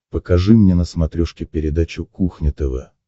покажи мне на смотрешке передачу кухня тв